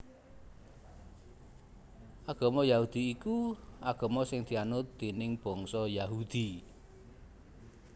Agama Yahudi iku agama sing dianut déning bangsa Yahudi